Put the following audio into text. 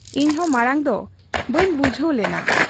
ᱤᱧᱦᱚᱸ ᱢᱟᱬᱟᱝ ᱫᱚ ᱵᱟᱹᱧ ᱵᱩᱡᱷᱟᱹᱣ ᱞᱮᱱᱟ ᱾